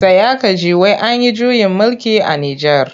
Tsaya ka ji! wai an yi juyin mulki a Nijar.